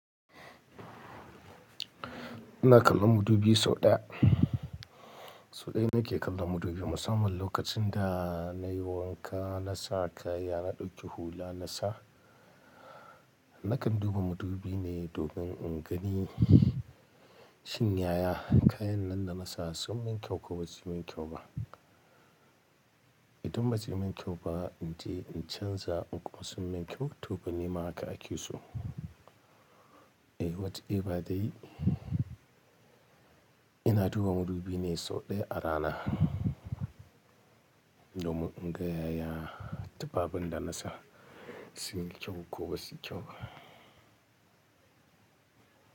Ina kallon madubi sau ɗaya. Sau ɗaya nake kallon madubi. Musamman lokacin da nayi wanka, na sa kaya, na ɗauki hula na sa, nakan duba madubi ne domin in gani shin yaya kayan nan da na sasu wai toh shin ne ke wa Toh in ba zai mun kyau ba in tahi in canza in kwaso mai kyau toh balle ma haka ake so. In short in ba dai ina duba maddubi sau daya a rana. Na mudin dai yaya tufafin dana saa sun yi kyau ko basu yi kyau ba.